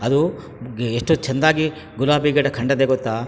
ಅದು ಎಷ್ಟು ಚಂದಾಗಿ ಗುಲಾಬಿಗಿಡ ಕಂಡದೆ ಗೊತ್ತಾ.